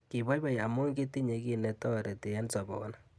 Kiboiboi amu kitinye kiy netoreti eng soboni